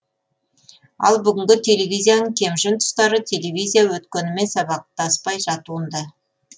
ал бүгінгі телевизияның кемшін тұстары телевизия өткенімен сабақтаспай жатуында